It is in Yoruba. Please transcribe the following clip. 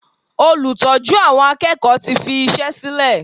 Olùtọ́jú àwọn akẹ́kọ̀ọ́ tí fi iṣẹ́ sílè.